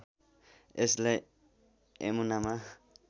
यसलाई यमुनामा